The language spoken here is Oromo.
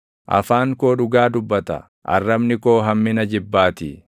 Afaan koo dhugaa dubbata; arrabni koo hammina jibbaatii.